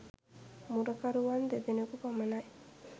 මුරකරුවන් දෙදෙනෙකු පමණයි.